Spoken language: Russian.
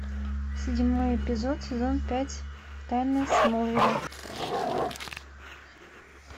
седьмой эпизод сезон пять тайны смолвиля